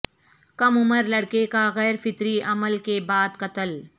کم عمر لڑکے کا غیر فطری عمل کے بعد قتل